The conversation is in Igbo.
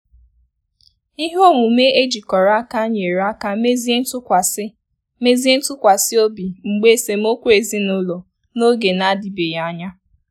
Ihe omume ejikọrọ aka nyere aka mezie ntụkwasi mezie ntụkwasi obi mgbe esemokwu ezinụlọ n'oge na-adibeghị anya.